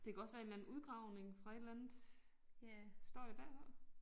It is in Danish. Det kunne også være en eller anden udgravning fra et eller andet står det bagpå?